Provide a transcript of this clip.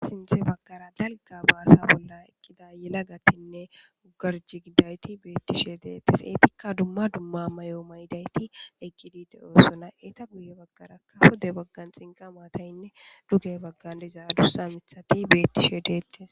Asinthe baggara galga baasa bolla eqqida yela gatinne ugarji giddayti beettishe deettes eetikka dumma dumma mayo mayidayti eggidi de'yosona eeta guye baggaraka hode baggan xinqa mataynne duge baggan dezaa dursa mithati beettishe deettes.